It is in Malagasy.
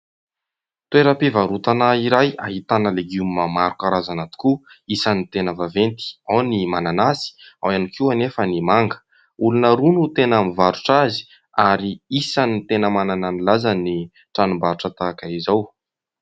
Toeram-pivarotana iray ahitana legioma maro karazana tokoa isan'ny tena vaventy : ao ny mananasy, ao ihany koa anefa ny manga. Olona roa no tena mivarotra azy ary isany tena manana ny lazany ny tranom-barotra tahaka izao.